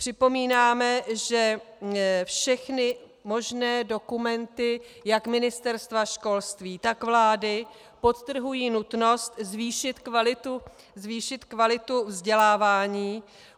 Připomínáme, že všechny možné dokumenty jak Ministerstva školství, tak vlády podtrhují nutnost zvýšit kvalitu vzdělávání.